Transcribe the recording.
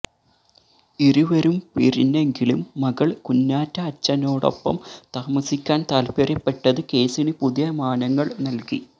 ഇരുവരും പിരിഞ്ഞെങ്കിലും മകള് കുഞ്ഞാറ്റ അച്ഛനോടൊപ്പം താമസിക്കാന് താല്പര്യപ്പെട്ടത് കേസിന് പുതിയ മാനങ്ങള് നല്കി